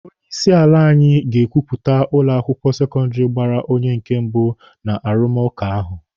Onye isi ala anyị ga-ekwuputa ụlọ akwụkwọ sekọndịrị gbara onye nke mbụ n'arụmụka ahụ.